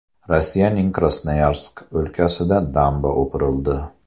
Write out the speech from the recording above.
Rossiyaning Krasnoyarsk o‘lkasida damba o‘pirildi.